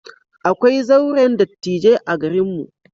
Akwai zauren dattijai a garinmu.